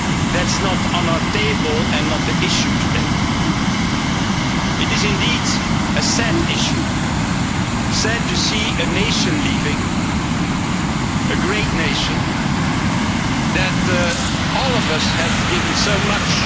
That's not on our table and not the issue today. It is indeed a sad issue sad to see a nation leaving, a great nation that has given all of us so much.